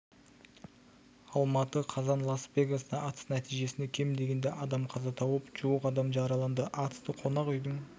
алматы қазан лас-вегаста атыс нәтижесінде кем дегенде адам қаза тауып жуық адам жараланды атысты қонақ үйдің